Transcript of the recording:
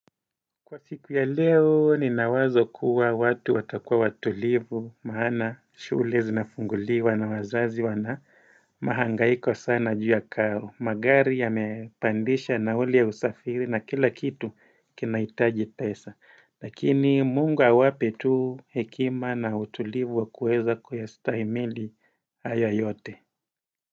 Kwa siku ya leo nina wazo kuwa watu watakuwa watulivu maana shule zinafunguliwa na wazazi wana mahangaiko sana ju ya karo. Magari yamepandisha nauli ya usafiri na kila kitu kinaitaji pesa Lakini Mungu awape tu hekima na utulivu wa kuweza kuyastahimili haya yote.